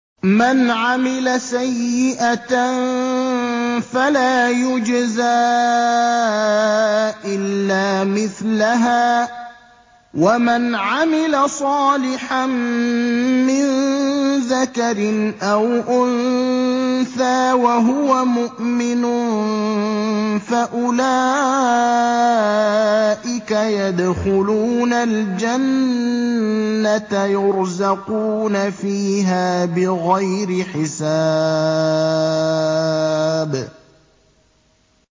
مَنْ عَمِلَ سَيِّئَةً فَلَا يُجْزَىٰ إِلَّا مِثْلَهَا ۖ وَمَنْ عَمِلَ صَالِحًا مِّن ذَكَرٍ أَوْ أُنثَىٰ وَهُوَ مُؤْمِنٌ فَأُولَٰئِكَ يَدْخُلُونَ الْجَنَّةَ يُرْزَقُونَ فِيهَا بِغَيْرِ حِسَابٍ